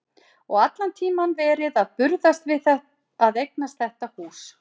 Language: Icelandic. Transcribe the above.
Og allan tímann verið að burðast við að eignast þetta hús.